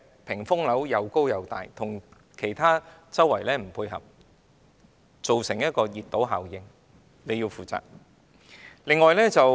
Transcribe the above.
屏風樓又高又闊，與周邊環境不匹配，造成熱島效應，局長需就此負責。